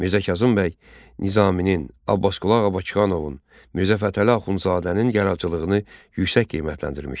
Mirzə Kazım bəy Nizaminin, Abbasqulu ağa Bakıxanovun, Mirzə Fətəli Axundzadənin yaradıcılığını yüksək qiymətləndirmişdi.